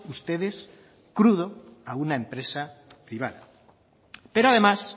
ustedes dando crudo a una empresa privada pero además